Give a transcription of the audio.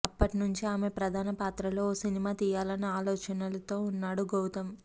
అప్పట్నుంచే ఆమె ప్రధాన పాత్రలో ఓ సినిమా తీయాలన్న ఆలోచనతో ఉన్నాడు గౌతమ్